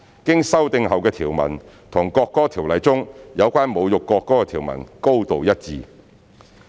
經修訂後的條文與《國歌條例》中有關侮辱國歌的條文高度一致。